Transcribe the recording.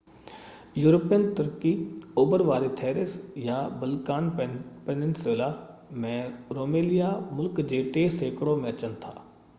European ترڪي اوڀر واري ٿريس يا بلقان پيننسيولا ۾ روميليا ملڪ جي 3% ۾ اچن ٿا